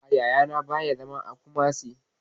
A'a, Yaya na ba ya zama a Kumasi